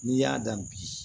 N'i y'a dan bi